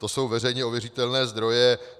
To jsou veřejně ověřitelné zdroje.